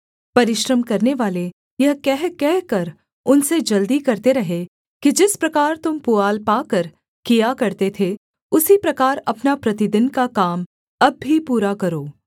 परिश्रम करनेवाले यह कहकहकर उनसे जल्दी करते रहे कि जिस प्रकार तुम पुआल पाकर किया करते थे उसी प्रकार अपना प्रतिदिन का काम अब भी पूरा करो